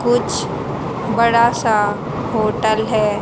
कुछ बड़ा सा होटल है।